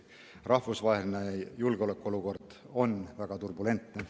Rahvusvaheline julgeolekuolukord on tõesti väga turbulentne.